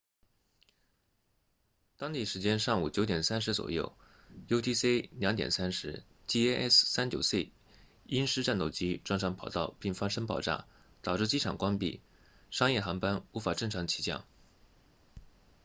当地时间上午 9:30 左右 utc 0230 jas 39c 鹰狮战斗机撞上跑道并发生爆炸导致机场关闭商业航班无法正常起降